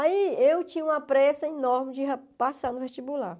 Aí eu tinha uma pressa enorme de ra passar no vestibular.